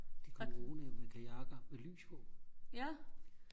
de kom roende med kajakker med lys på